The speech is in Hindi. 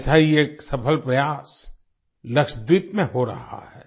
ऐसा ही एक सफल प्रयास लक्षद्वीप में हो रहा है